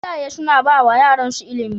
Iyaye suna bawa yaran su ilimi